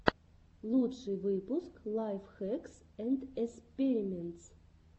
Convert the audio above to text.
лучший выпуск лайф хэкс энд эспериментс